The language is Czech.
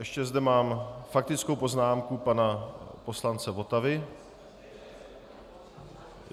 Ještě zde mám faktickou poznámku pana poslance Votavy.